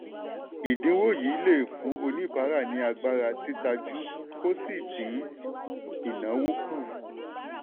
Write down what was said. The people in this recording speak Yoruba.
ìdínwó yìí lè fún oníbàárà ní agbára títajú kó sì din ináwó kù.